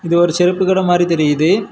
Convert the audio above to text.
இது ஒரு செருப்பு கடை மாரி தெரியுது.